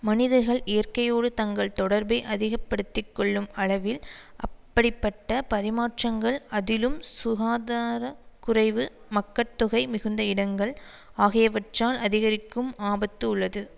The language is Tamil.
மனிதர்கள் இயற்கையோடு தங்கள் தொடர்பை அதிக படுத்தி கொள்ளும் அளவில் அப்படிப்பட்ட பரிமாற்றங்கள் அதிலும் சுகாதார குறைவு மக்கட்தொகை மிகுந்த இடங்கள் ஆகியவற்றால் அதிகரிக்கும் ஆபத்து உள்ளது